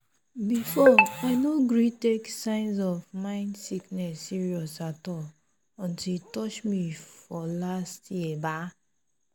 before i no gree take signs of mind sickness serious at all until e touch me for last year ba?